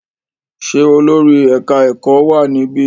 Ṣé olórí ẹ̀ka-ẹ̀kọ́ wà níbí?